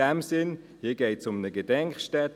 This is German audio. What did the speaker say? In diesem Sinne: Hier geht es um eine Gedenkstätte.